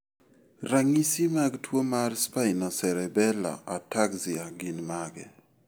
Ranyisi mag tuwo mar Spinocerebellar ataxia gin mage?